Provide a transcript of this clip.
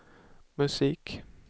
musik